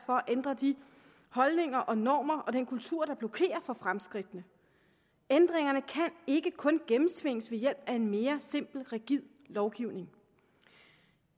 at ændre de holdninger og normer og den kultur der blokerer for fremskridtene ændringerne kan ikke kun gennemtvinges ved hjælp af en mere simpel rigid lovgivning